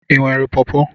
Ị nwere pọọpo?